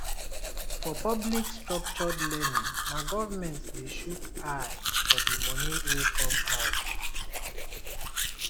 for public structured learning na government de shook eye for di moni wey come out